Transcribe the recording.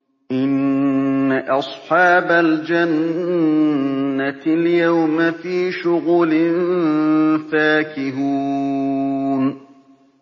إِنَّ أَصْحَابَ الْجَنَّةِ الْيَوْمَ فِي شُغُلٍ فَاكِهُونَ